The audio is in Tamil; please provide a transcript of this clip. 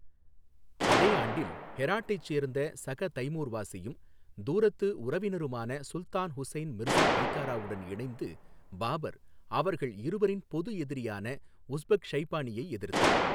அதே ஆண்டில், ஹெராட்டைச் சேர்ந்த சக தைமூர் வாசியும் தூரத்து உறவினருமான சுல்தான் ஹுசைன் மிர்சா பைகாராவுடன் இணைந்து பாபர், அவர்கள் இருவரின் பொது எதிரியான உஸ்பெக் ஷைபானியை எதிர்த்தார்.